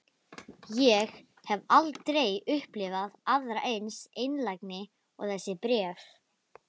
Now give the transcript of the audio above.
Ég hef aldrei upplifað aðra eins einlægni og þessi bréf.